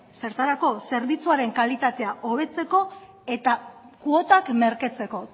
zertarako zerbitzuaren kalitatea hobetzeko eta kuotak merketzeko